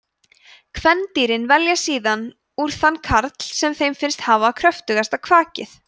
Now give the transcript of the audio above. kvendýrin velja síðan úr þann karl sem þeim finnst hafa kröftugasta kvakið